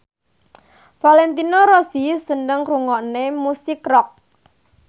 Valentino Rossi seneng ngrungokne musik rock